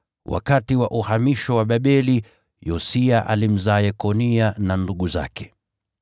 wakati wa uhamisho wa Babeli, Yosia alimzaa Yekonia na ndugu zake.